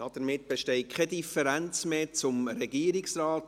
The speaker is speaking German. Damit besteht keine Differenz mehr zum Regierungsrat.